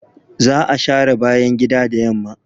Za a share bayan gida da yamma.